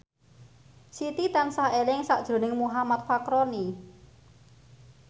Siti tansah eling sakjroning Muhammad Fachroni